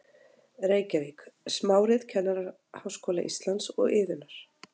Reykjavík: Smárit Kennaraháskóla Íslands og Iðunnar.